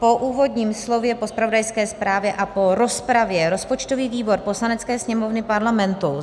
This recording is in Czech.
Po úvodním slově, po zpravodajské zprávě a po rozpravě rozpočtový výbor Poslanecké sněmovny Parlamentu